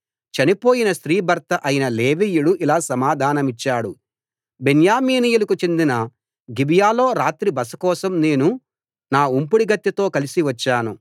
చనిపోయిన స్త్రీ భర్త అయిన లేవీయుడు ఇలా సమాధానమిచ్చాడు బెన్యామీనీయులకు చెందిన గిబియాలో రాత్రి బస కోసం నేను నా ఉంపుడుగత్తెతో కలసి వచ్చాను